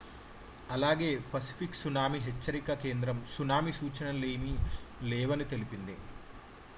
అలాగే Pacific tsunami హెచ్చరిక కేంద్రం సునామీ సూచనలేమీ లేవని తెలిపింది